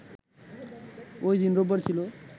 ওইদিন রোববার ছিল